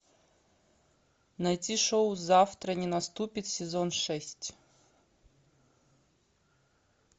найти шоу завтра не наступит сезон шесть